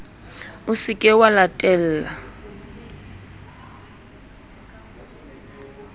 o se ke wa latella